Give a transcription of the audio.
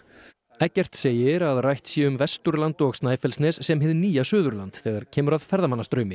Eggert segir að rætt sé um Vesturland og Snæfellsnes sem hið nýja Suðurland þegar kemur að ferðamannastraumi